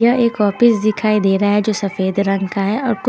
यह एक ऑफिस दिखाई दे रहा है जो सफेद रंग का है और कु--